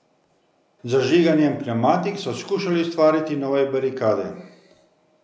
Z zažiganjem pnevmatik so skušali ustvariti nove barikade.